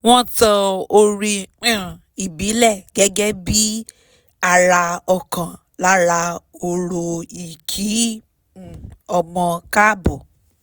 wọ́n tan orin um ìbílẹ̀ gẹ́gẹ́ bí i ara ọ̀kan lára orò ì kí um ọmọ káàbọ̀